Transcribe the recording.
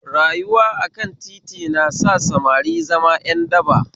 Rayuwa akan titi na sa samari zama ƴan daba